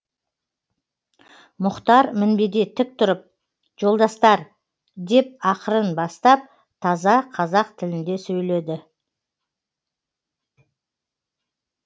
мұхтар мінбеде тік тұрып жолдастар деп ақырын бастап таза қазақ тілінде сөйледі